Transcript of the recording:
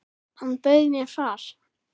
Hann bauð mér far.